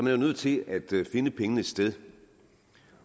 jo nødt til at finde pengene et sted